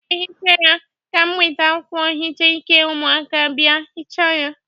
Aga m ehicha ya, ka m weta akwụkwọ nhicha ike ụmụaka bịa hịcha ya.